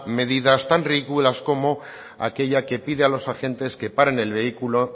medidas tan ridículas como aquella que pide a los agentes que paren el vehículo